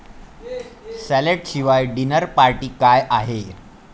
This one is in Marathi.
सॅलड शिवाय डिनर पार्टी काय आहे?